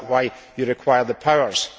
Is that why you require the powers?